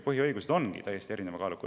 Põhiõigused ongi täiesti erineva kaaluga.